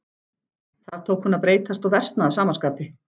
Þar tók hún að breytast og versna að sama skapi.